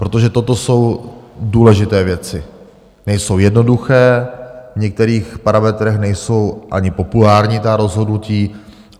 Protože toto jsou důležité věci, nejsou jednoduché, v některých parametrech nejsou ani populární ta rozhodnutí.